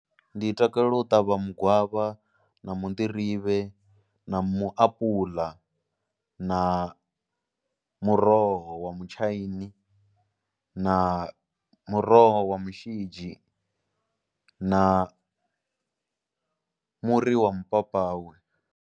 Ndi takalela u ṱavha mugwavha na munḓirivhe na muapula na muroho wa mutshaini na muroho wa mushidzhi na muri wa mapapawe.